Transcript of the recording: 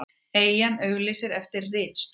Eyjan auglýsir eftir ritstjóra